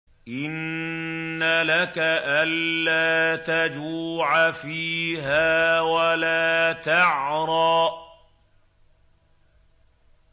إِنَّ لَكَ أَلَّا تَجُوعَ فِيهَا وَلَا تَعْرَىٰ